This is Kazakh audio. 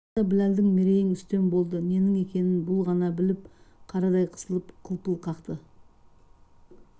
тағы да біләлдің мерейң үстем болды ненің екенін бұл ғана біліп қарадай қысылып қылпыл қақты